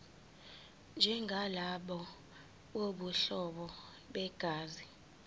njengalabo bobuhlobo begazi